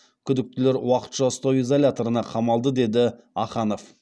күдіктілер уақытша ұстау изоляторына қамалды деді аханов